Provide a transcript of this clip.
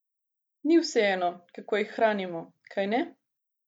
Ni vseeno, kako jih hranimo, kajne?